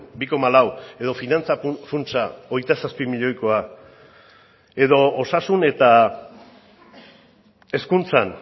bi koma lau edo finantza funtsa hogeita zazpi milioikoa edo osasun eta hezkuntzan